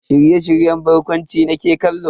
Shirye-shiryen barkwanci nake kallo.